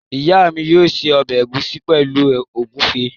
Ìyá mi yóò se ọbẹ̀ ẹ̀gúsí pẹ̀lú ògúnfe.